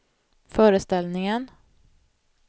föreställningen